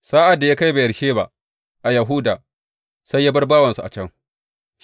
Sa’ad da ya kai Beyersheba a Yahuda, sai ya bar bawansa a can.